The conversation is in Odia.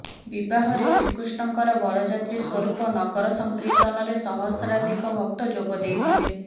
ବିବାହରେ ଶ୍ରୀକୃଷ୍ଣଙ୍କର ବରଯାତ୍ରୀ ସ୍ୱରୂପ ନଗର ସଂକୀର୍ତ୍ତନରେ ସହସ୍ରାଧିକ ଭକ୍ତ ଯୋଗ ଦେଇଥିଲେ